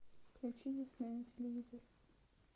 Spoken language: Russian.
включи дисней на телевизоре